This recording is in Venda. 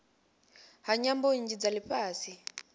ha nyambo nnzhi dza lifhasi